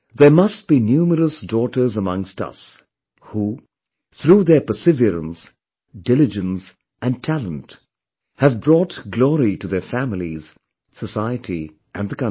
There must be numerous daughters amongst us who, through there perseverance, diligence and talent have brought glory to their families, society and the country